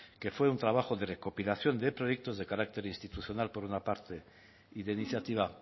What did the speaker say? que fue un trabajo de recopilación de proyectos de carácter institucional por una parte y de iniciativa